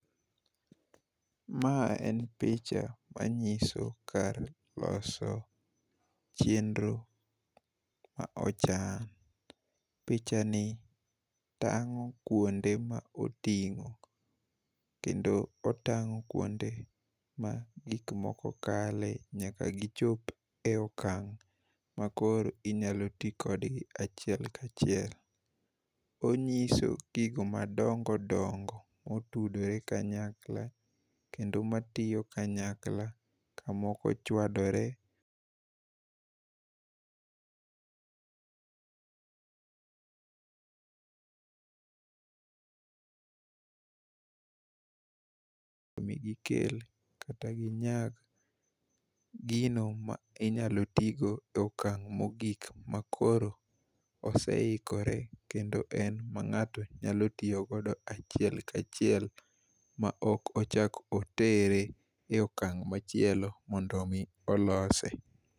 Ma en picha manyiso kar loso chenro ma ochan. Pichani tangó kuonde ma otingó, kendo otangó kuonde ma gik moko kale nyaka gichop e okang' ma koro inyalo ti kodgi achiel ka achiel. Onyiso gigo madongo dongo motudore kanyakla, kendo matiyo kanyakla, ka moko chwadore migikel, kata ginyag gino ma inyalo ti go e okang' mogik, ma koro oseikore ma ngáto nyalo tiyo godo achiel ka achiel, ma ok ochak otere e okang' machielo mondo omi olose.